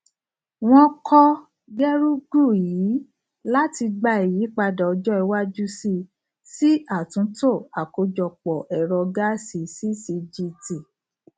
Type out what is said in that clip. wọn kọ gerugu ii láti gba ìyípadà ọjọ iwájú sí sí àtúntò àkójọpọ ẹrọ gáàsì ccgt